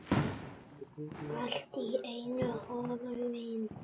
Allt í einu horfin.